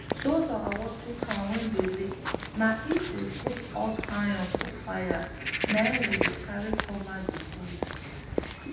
those our watering can wey dey leak na if we put hot iron for fire na him we dey carry cover the holes